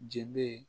Je be